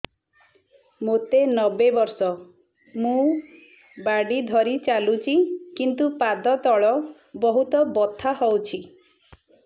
ମୋତେ ନବେ ବର୍ଷ ମୁ ବାଡ଼ି ଧରି ଚାଲୁଚି କିନ୍ତୁ ପାଦ ତଳ ବହୁତ ବଥା ହଉଛି